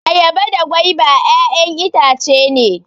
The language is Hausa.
Ayaba da gwaiba ƴaƴan itace ne